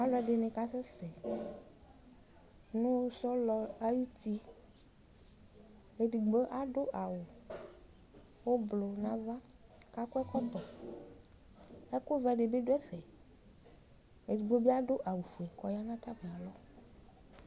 Alu ɛdini kasɛsɛ nʋ sɔlɔ ayʋtiedigbo aɖʋ awu ʋblu nava, kʋ akɔ ɛkɔtɔɛkʋ vɛ dibi dʋ'ɛfɛEdigbo bi adʋ awu fue kʋ ɔya nʋ atamialɔ